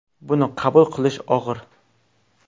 Buni qabul qilish og‘ir.